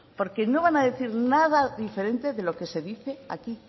porque no van a decir nada diferente de lo que se dice aquí